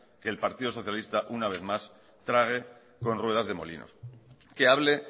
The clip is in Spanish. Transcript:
que el partido socialista una vez más trague con ruedas de molinos que hable